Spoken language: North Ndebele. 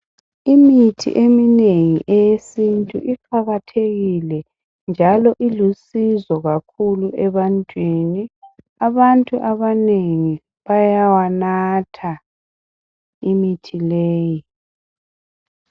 Imithi eminengi eyesintu iqakathekile njalo ilusizo kakhulu ebantwini. Abantu abanengi bayayinatha imithi leyi.